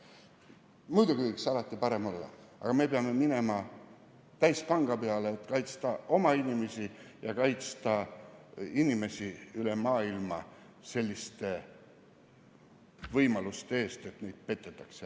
Muidugi võiks alati parem olla, aga me peame minema täispanga peale, et kaitsta oma inimesi ja kaitsta inimesi üle maailma võimaluse eest, et neid petetakse.